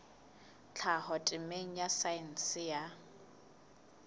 tlhaho temeng ya saense ya